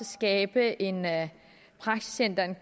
skabe en praksisændring